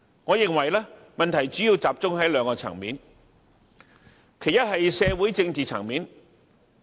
我認為問題主要集中在兩個層面，其一是社會政治層面。